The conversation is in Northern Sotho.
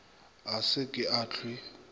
a se ke a hlwe